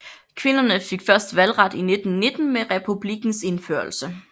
Kvinderne fik først valgret i 1919 med republikkens indførelse